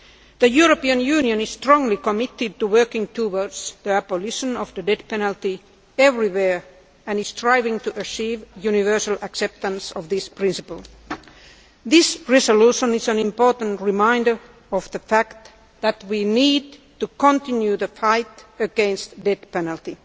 The European Union is strongly committed to working towards the abolition of the death penalty everywhere and is striving to achieve universal acceptance of this principle. This resolution is an important reminder of the fact that we need to continue the fight against the death penalty.